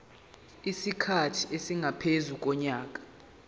isikhathi esingaphezu konyaka